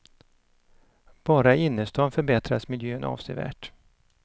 Bara i innerstan förbättras miljön avsevärt.